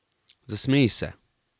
Zasmeji se.